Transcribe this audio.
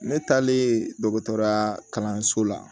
Ne taalen dɔgɔtɔrɔya kalanso la